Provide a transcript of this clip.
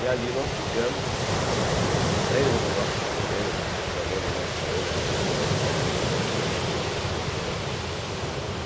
E ali nós ficamos lendo nossos poemas, declamando nossos poemas, e o pessoal saindo dos escritórios do comércio, enchendo a praça.